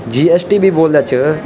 जी.एस.टी. भी बोलदा च।